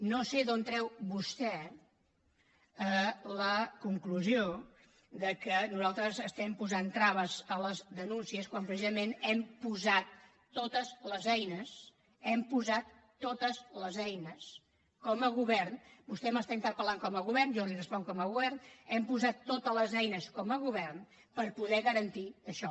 no sé d’on treu vostè la conclusió que nosaltres estem posant traves a les denúncies quan precisament hem posat totes les eines hem posat totes les eines com a govern vostè m’està interpel·lant com a govern jo li responc com a govern per poder garantir això